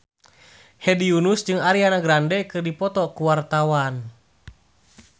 Hedi Yunus jeung Ariana Grande keur dipoto ku wartawan